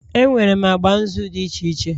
Enwere agba nzu dị iche iche